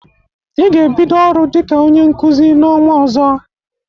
Ị ga-ebido ọrụ dịka onye Nkụzi n'ọnwa ọzọ!